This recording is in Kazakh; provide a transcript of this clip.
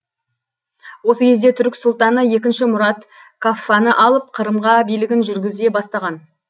осы кезде түрік сұлтаны екінші мұрат каффаны алып қырымға билігін жүргізе бастаған